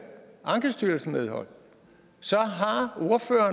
ankestyrelsen medhold så